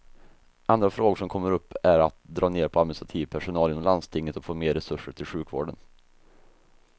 Andra frågor som kommer upp är att dra ner på administrativ personal inom landstinget och få mer resurser till sjukvården.